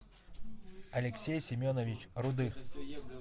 алексей семенович рудых